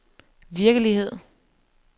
virkelighed